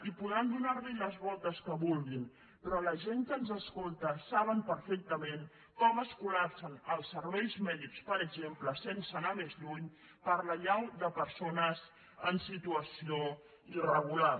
i podran donar li les voltes que vulguin però la gent que ens escolta saben perfectament com es col·lapsen els serveis mèdics per exemple sense anar més lluny per l’allau de persones en situació irregular